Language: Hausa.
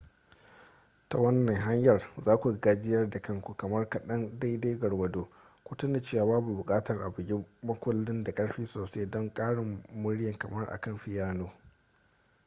ta wannan hanyar za ku gajiyar da kanku kamar kaɗan daidai gwargwado ku tuna cewa babu buƙatar a bugi makullin da ƙarfi sosai don ƙarin murya kamar akan fiyano